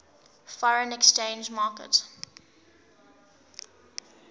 foreign exchange market